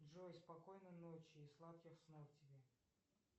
джой спокойной ночи и сладких снов тебе